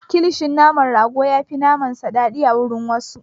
Kilishin naman rago ya fi na naman sa daɗi a wurin wasu.